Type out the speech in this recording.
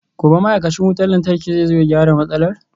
Gobe ​​ma'aikacin wutar lantarki zai zo ya gyara matsalar?